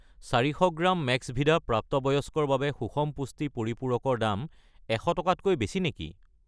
400 gram মেক্সভিদা প্ৰাপ্তবয়স্কৰ বাবে সুষম পুষ্টি পৰিপূৰক ৰ দাম 100 টকাতকৈ বেছি নেকি?